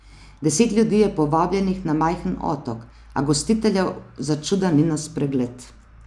Deset ljudi je povabljenih na majhen otok, a gostiteljev začuda ni na spregled.